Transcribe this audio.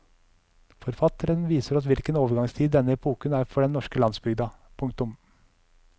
Forfatteren viser oss hvilken overgangstid denne epoken er for den norske landsbygda. punktum